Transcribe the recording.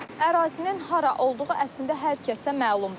Ərazinin hara olduğu əslində hər kəsə məlumdur.